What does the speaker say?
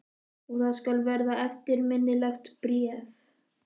Og það skal verða eftirminnilegt bréf.